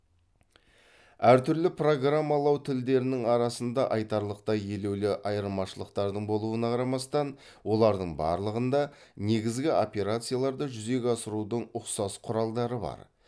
әртүрлі программалау тілдерінің арасында айтарлықтай елеулі айырмашылықтардың болуына қарамастан олардың барлығында негізгі операцияларды жүзеге асырудың ұқсас құралдары бар